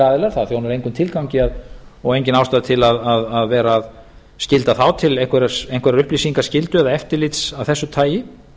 aðilar það þjónar engum tilgangi og engin ástæða til að vera að skylda þá til einhverrar upplýsingaskyldu eða eftirlits af þessu tagi